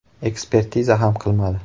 Ekspertiza ham qilmadi.